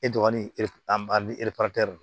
E dɔgɔnin ni don